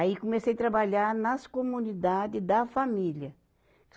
Aí comecei trabalhar nas comunidade da família.